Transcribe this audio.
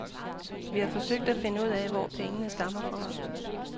Vi har forsøgt at finde ud af, hvor pengene stammer fra.